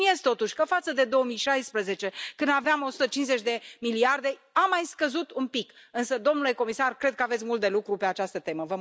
Subliniez, totuși, că față de 2016, când aveam 150 de miliarde, a mai scăzut un pic, însă domnule comisar, cred că aveți mult de lucru pe această temă.